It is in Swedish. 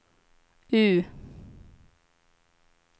U